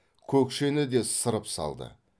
көкшені де сырып салды